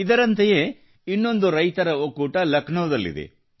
ಇದರಂತೆಯೇ ಇನ್ನೊಂದು ರೈತರ ಒಕ್ಕೂಟ ಲಕ್ನೋದಲ್ಲಿದೆ